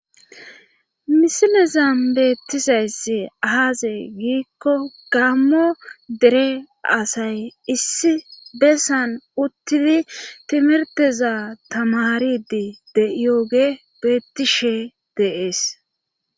Misilezan beettisayss aaze giikko gammo dere asay issi bessan uttidi timirteza tamaridi deyooge beettishe deees.